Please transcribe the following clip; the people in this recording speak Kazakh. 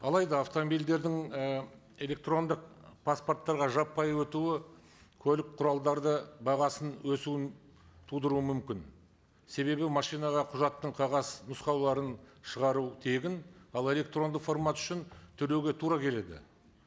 алайда автомобильдердің і электрондық паспорттарға жаппай өтуі көлік құралдарды бағасын өсуін тудыруы мүмкін себебі машинаға құжаттың қағаз нұсқауларын шығару тегін ал электрондық формат үшін төлеуге тура келеді